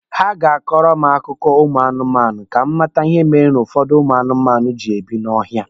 Ha ga-akọrọ m akụkọ ụmụ anụmanụ ka m mata ihe mere ụfọdụ ụmụ anụmanụ ji ebi n'ọhịa